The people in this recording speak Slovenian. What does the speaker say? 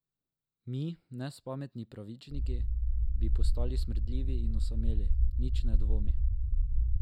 Mi, nespametni pravičniki, bi postali smrdljivi in osameli, nič ne dvomi.